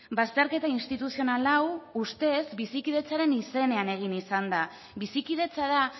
bazterketa instituzional hau ustez bizikidetzaren izenean egin izan da bizikidetza da